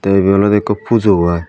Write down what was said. te ibe olode ekku pujo i.